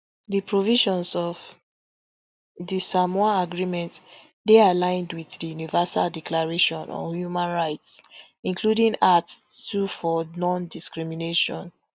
di provisions of di samoa agreement dey aligned wit di universal declaration on human rights including art two for nondiscrimination